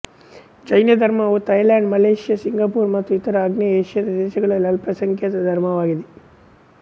ಜೈನ ಧರ್ಮವು Thailand Malaysia Singapore ಮತ್ತು ಇತರ ಆಗ್ನೇಯ ಏಷ್ಯಾದ ದೇಶಗಳಲ್ಲಿ ಅಲ್ಪಸಂಖ್ಯಾತ ಧರ್ಮವಾಗಿದೆ